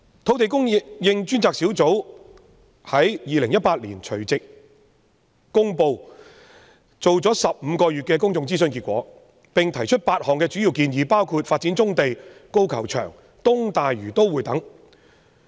"土地供應專責小組在2018年除夕公布進行了15個月的公眾諮詢結果，並提出8項主要建議，包括發展棕地、高爾夫球場和東大嶼都會等。